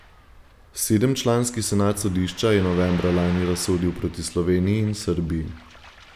Sedemčlanski senat sodišča je novembra lani razsodil proti Sloveniji in Srbiji.